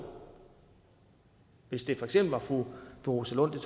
hvis det for eksempel er fru rosa lund